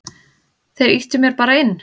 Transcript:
Þeir ýttu mér bara inn.